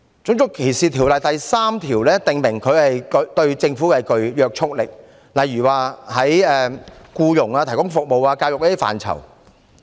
《種族歧視條例》第3條訂明，條例對政府具約束力，例如在僱傭、提供服務及教育等範疇。